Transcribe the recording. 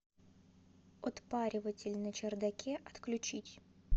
отпариватель на чердаке отключить